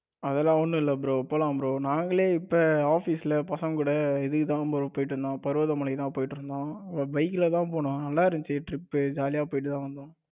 அது எல்லாம் ஒன்னும் இல்ல bro போலாம் bro நாங்களே இப்ப office ல பசங்க கூட இதுக்கு தான் bro போய்டு வந்தோம் பருவத மலைக்கு தான் போய்டு வந்தோம். bike ல தான் போனும் நல்ல இருந்துச்சு trip ஜாலியா போய்டுதான் வந்தோம்.